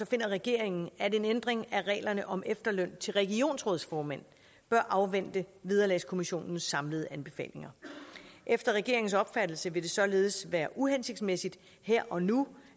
finder regeringen at en ændring af reglerne om efterløn til regionsrådsformænd bør afvente vederlagskommissionens samlede anbefalinger efter regeringens opfattelse vil det således være uhensigtsmæssigt her og nu